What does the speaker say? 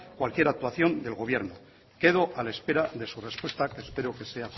cualquier actuación del gobierno quedo a la espera de su respuesta que espero que sea